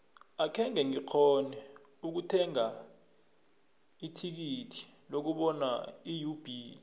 akhenge ngikghone ukuthenga ithikithi lokubona iub